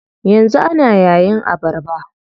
Yanzu ana yayin abarba.